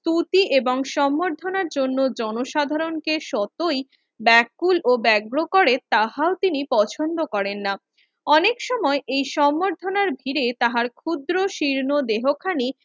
সুতি এবং সংবর্ধনার জন্য জনসাধারণকে সতই ব্যাকুল ও ব্যাগ্র করে তাহাও তিনি পছন্দ করেন না। অনেক সময় এ সম্বধনার ভিড়ে তাহার ক্ষুদ্র শীর্ণ দেহো খানি